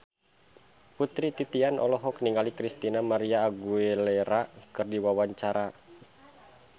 Putri Titian olohok ningali Christina María Aguilera keur diwawancara